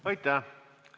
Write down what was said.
Aitäh!